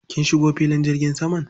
Kin shigo filin jirgin saman?